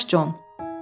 Hazırlaş, Con!